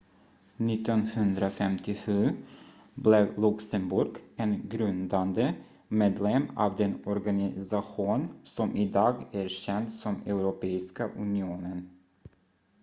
1957 blev luxemburg en grundande medlem av den organisation som idag är känd som europeiska unionen